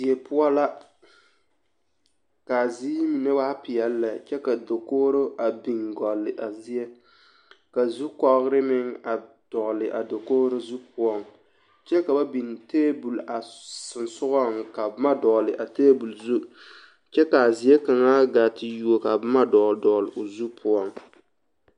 Die poɔ la k'a ziiri mine waa peɛle lɛ kyɛ ka dakogiro a biŋ gɔlle a zie ka zukɔgere meŋ a dɔgele a dakogiro zu poɔŋ kyɛ ka ba biŋ teebol a sonsogɔŋ ka ba biŋ boma a teebol zu kyɛ k'a zie kaŋa gaa te yuo ka boma dɔgele dɔgele o zu poɔŋ.